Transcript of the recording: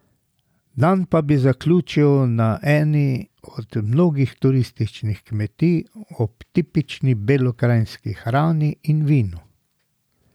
Dan pa bi zaključili na eni od mnogih turističnih kmetij ob tipični belokranjski hrani in vinu.